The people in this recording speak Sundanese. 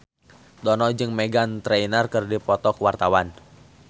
Dono jeung Meghan Trainor keur dipoto ku wartawan